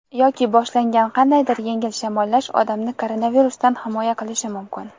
Yoki boshlangan qandaydir yengil shamollash odamni koronavirusdan himoya qilishi mumkin.